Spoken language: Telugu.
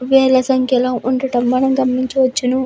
వేల సంఖ్యలో ఉండటం మనము గమనించవచ్చును.